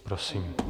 Prosím.